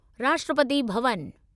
Rashtrapati Bhavan